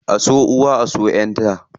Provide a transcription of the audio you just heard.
A so uwa, a so ƴaʼƴan ta.